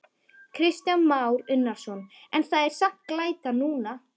Kristján Már Unnarsson: En það er samt glæta núna?